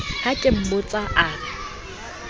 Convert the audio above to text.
ha ke mmotsa a re